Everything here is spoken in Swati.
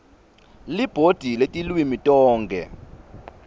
libhodi letilwimi tonkhe